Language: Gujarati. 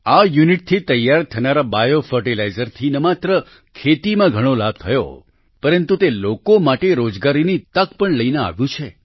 આ યુનિટથી તૈયાર થનારા બાયો ફર્ટિલાઈઝરથી ન માત્ર ખેતીમાં ઘણો લાભ થયો પરતું તે લોકો માટે રોજગારની તક પણ લઈને આવ્યું છે